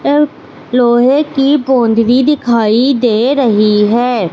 एक लोहे की बाउंड्री दिखाई दे रही है।